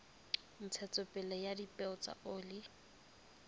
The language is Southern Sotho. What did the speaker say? ntshetsopele ya dipeo tsa oli